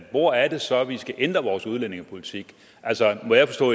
hvor er det så vi skal ændre vores udlændingepolitik altså